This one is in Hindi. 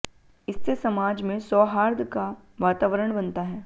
इससे समाज में सौहार्द का वातावरण बनता है